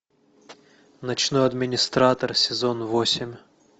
ночной администратор сезон восемь